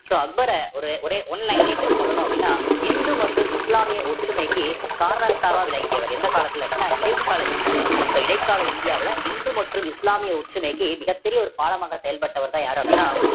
so அக்பர ஒரு ஒரே one line லயே நம்ம சொல்லணும் அப்படின்னா இந்து மற்றும் இஸ்லாமிய ஒற்றுமைக்கு காரணகர்த்தாவா விளங்கியவர் எந்த காலத்துல அப்படின்னா இடைக்கால இந்தியாவுல so இடைக்கால இந்தியாவுல இந்து மற்றும் இஸ்லாமிய ஒற்றுமைக்கு மிகப் பெரிய ஒரு பாலமாக செயல்பட்டவர்தான் யாரு அப்படின்னா